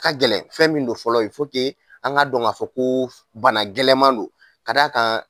A ka gɛlɛn fɛn min don fɔlɔ an k'a dɔn k'a fɔ ko bana gɛlɛnman don ka da a kan